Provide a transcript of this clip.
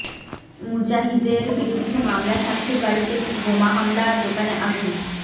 মুজাহিদের বিরুদ্ধে মামলা সাক্ষীর বাড়িতে বোমা হামলা দোকানে আগুন